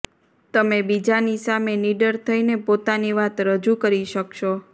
તમે બીજાની સામે નીડર થઈને પોતાની વાત રજૂ કરી શકશો